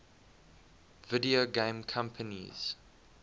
video game companies